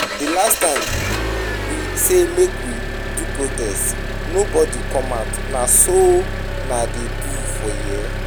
The last time we say make we do protest nobody come out, na so una dey do for here?